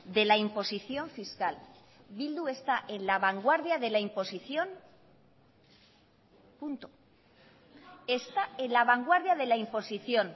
de la imposición fiscal bildu está en la vanguardia de la imposición punto está en la vanguardia de la imposición